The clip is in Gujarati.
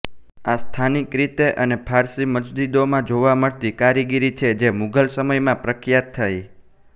આ સ્થાનિક રીતે અને ફારસી મસ્જિદોમાં જોવા મળતી કારીગરી છે જે મુઘલ સમયમાં પ્રખ્યાત થઇ